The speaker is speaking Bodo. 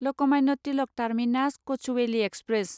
Lokmanya Tilak terminus Kochuveli express